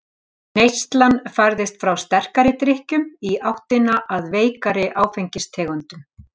Neyslan færðist frá sterkari drykkjum í áttina að veikari áfengistegundum.